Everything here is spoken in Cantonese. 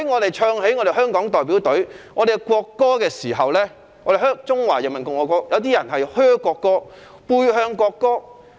當香港隊出賽，奏起中華人民共和國國歌時，有些人"噓"國歌或背向球場。